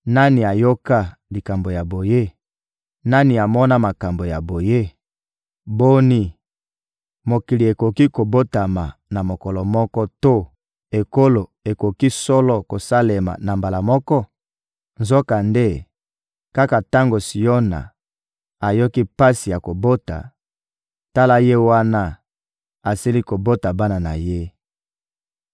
Nani ayoka likambo ya boye? Nani amona makambo ya boye? Boni, mokili ekoki kobotama na mokolo moko to ekolo ekoki solo kosalema na mbala moko? Nzokande, kaka tango Siona ayoki pasi ya kobota, tala ye wana asili kobota bana na ye.